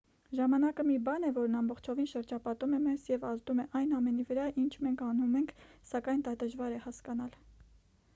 ժամանակը մի բան է որն ամբողջովին շրջապատում է մեզ և ազդում է այն ամենի վրա ինչ մենք անում ենք սակայն դա դժվար է հասկանալ